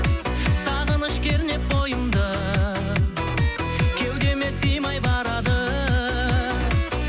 сағыныш кернеп бойымды кеудеме симай барады